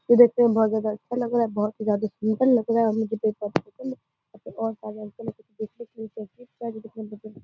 ये देखने में बहुत ज्यादा अच्छा लग रहा है। बहुत ही ज्यादा सुन्दर लग रहा है। --